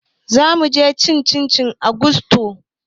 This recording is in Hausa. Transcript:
Zamuje cin abinci a gusto